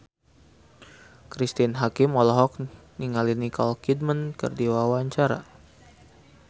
Cristine Hakim olohok ningali Nicole Kidman keur diwawancara